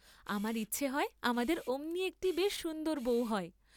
আমার ইচ্ছা হয় আমাদের অমনি একটি বেশ সুন্দর বৌ হয়।